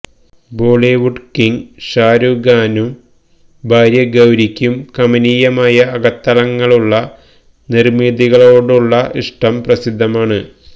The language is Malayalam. ബോളിവുഡ് കിങ് ഷാരൂഖ് ഖാനും ഭാര്യ ഗൌരിക്കും കമനീയമായ അകത്തളങ്ങളുള്ള നിർമിതികളോടുള്ള ഇഷ്ടം പ്രസിദ്ധമാണ്